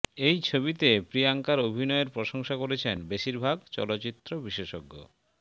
এই ছবিতে প্রিয়ঙ্কার অভিনয়ের প্রশংসা করছেন বেশিরভাগ চলচ্চিত্র বিশেষজ্ঞ